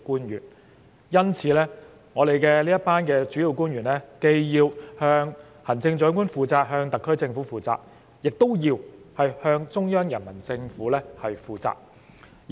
因此，我們這群主要官員既要向行政長官及特區政府負責，亦要向中央人民政府負責。